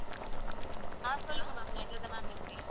ஆஹ் சொல்லுங்க ma'am line ல தான் ma'am இருக்கேன்.